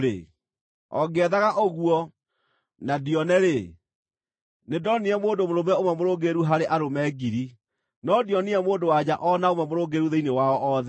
o ngĩethaga ũguo na ndione-rĩ: Nĩndonire mũndũ mũrũme ũmwe mũrũngĩrĩru harĩ arũme ngiri, no ndionire mũndũ-wa-nja o na ũmwe mũrũngĩrĩru thĩinĩ wao othe.